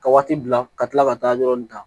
Ka waati bila ka tila ka taa yɔrɔ in ta